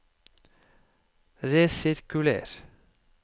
resirkuler